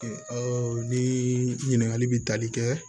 ni ɲininkali bɛ tali kɛ